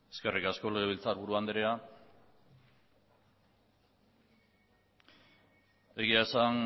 eskerrik asko legebiltzarburu andrea egia esan